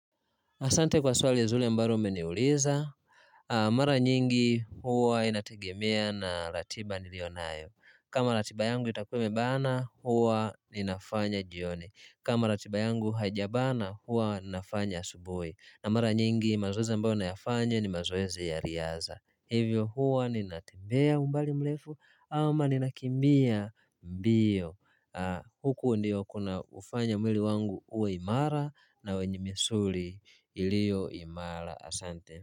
Asante kwa swali ya zuri ambalo umeniuliza. Mara nyingi huwa inategemea na ratiba nilio nayo. Kama ratiba yangu itakuwa imebana huwa ninafanya jioni kama ratiba yangu haijabana huwa ninafanya asubuhi. Na mara nyingi mazoezi ambayo nayafanya ni mazoezi ya riadha. Hivyo huwa ninatembea umbali mrefu ama ninakimbia mbio. Huku ndiko kunakofanya mwili wangu uwe imara na misuli iliyo imara.